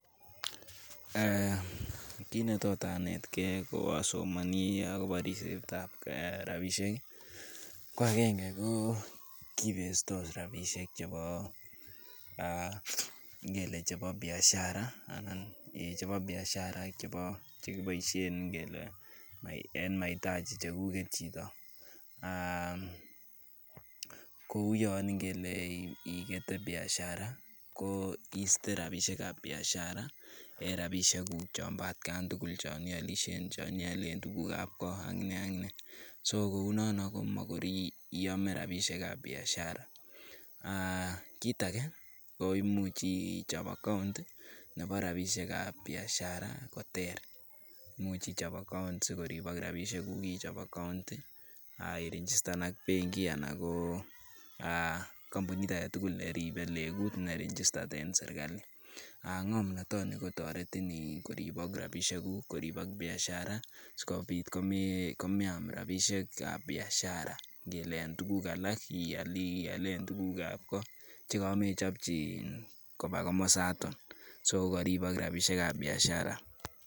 Kiit ne tot anetgeiasomani akobo ribsetab rapishek, ko agenge kipesos rapishek chebo ngele chebo biashara ak chekiboishe eng ngele maitaji chekuget chito , Kou yon ingele ngikete biashara ko iiste rapishekuk ab biashara eng rapishekuk chon bo atkan tugul chon ialishe, chon iale tukuk ab ko ak ne ak ne. so kunono ko magoi iame rapisheab biashara. Kit age ko imuch ichop account nebo rapisheab biashara ko ter, imuch ichop account sikoripok rapishek kuk. ak i registan ak benkianan compunit age tugul ne ribei legut ne registered eng serkali.Ng'omnatanin ko toretin koribok rapishekuk, koribok biashara sikobit ko meam rapishekab biashara ngele en tukuk nial ialen tukuk ab koot chika mechopchi koba komosatak. Sogoi ko karibok rapishekab biashara